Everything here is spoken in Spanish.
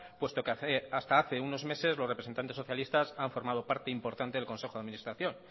puesto que hasta hace unos meses los representantes socialistas han formado parte importante del consejo de administración